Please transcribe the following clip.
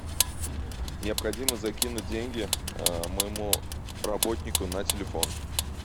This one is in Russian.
необходимо закинуть деньги моему работнику на телефон